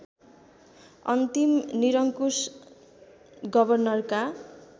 अन्तिम निरङ्कुश गवर्नरका